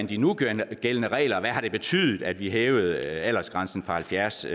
de nugældende regler hvad har det betydet at vi hævede aldersgrænsen fra halvfjerds